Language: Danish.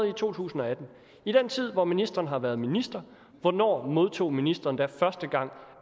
i 2018 i den tid hvor ministeren har været minister hvornår modtog ministeren da første gang